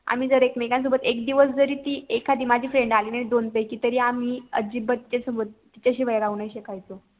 आम्ही जर एकमेकान सोबत एक दिवस जरी ती एखादी माझी FRIEND आली नाही दोन पैकी कि तरी आम्ही अजिबात सोबत तिच्याशिवाय राहू नाही शकायचो